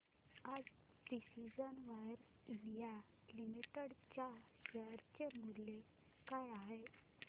आज Precision Wires India Limited च्या share चे मूल्य काय आहे